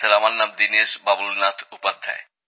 sir আমার নাম দীনেশ বাবুলনাথ উপাধ্যায়